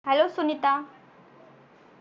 hello Sunita